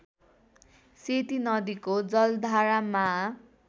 सेती नदीको जलधारामा